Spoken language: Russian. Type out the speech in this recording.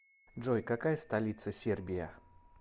джой какая столица сербия